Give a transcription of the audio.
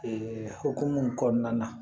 hokumu kɔnɔna na